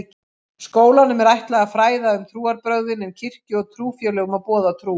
Skólanum er ætlað að fræða um trúarbrögðin en kirkju og trúfélögum að boða trú.